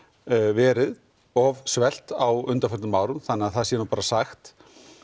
verið of svelt á undanförnum árum þannig að það sé nú sagt